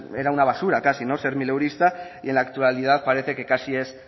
era una basura casi ser mileurista y en la actualidad parece que casi es